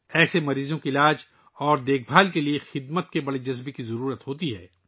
ایسے مریضوں کے علاج اور دیکھ بھال کے لئے خدمت کے جذبے کی ضرورت ہوتی ہے